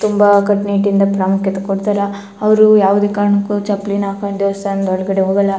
ತುಂಬಾ ಕಟ್ಟ್ ನಿಟ್ಟ್ ಯಿಂದ ಪ್ರಾಮುಖ್ಯತೆ ಕೊಡತ್ತರ್ ಅವ್ರು ಯಾವುದೆ ಕಾರಣಕ್ಕು ಚಪ್ಲಿನ ಹಾಕೊಂಡು ದೇವಸ್ಥಾನದ್ ಒಳಗಡೆ ಹೋಗಲ್ಲಾ --